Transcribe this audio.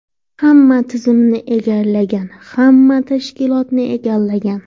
Hamma tizimni egallagan, hamma tashkilotni egallagan.